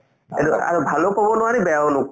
এইটো আৰু ভালো কব নোৱাৰি আৰু বেয়াও